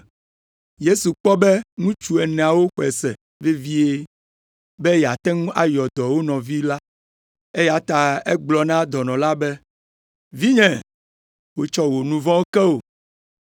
Yesu kpɔ be ŋutsu eneawo xɔe se vevie be yeate ŋu ayɔ dɔ wo nɔvi la, eya ta egblɔ na dɔnɔ la be, “Vinye, wotsɔ wò nu vɔ̃wo ke wò!”